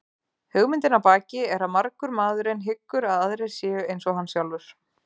Hugmyndin að baki er að margur maðurinn hyggur að aðrir séu eins og hann sjálfur.